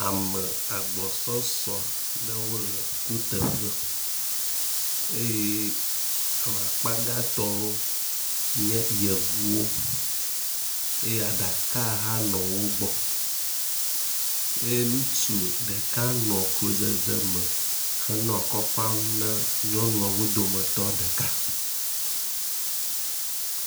Ame agbɔsɔsɔ ɖewo le kuteƒe, eye ame akpa gãtɔwo nye yevuwo eye aɖaka hã nɔ wo gbɔ eye nutsu ɖeka nɔ klodzedze me henɔ akɔ fam na nyɔnuawo dometɔ ɖeka.